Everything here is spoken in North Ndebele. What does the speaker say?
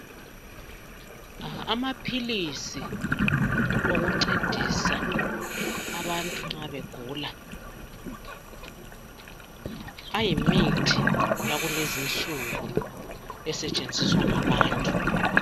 Amaphilizi okuncedisa abantu nxa begula, ayimithi yakulezi insuku esetshenziswa ngabantu.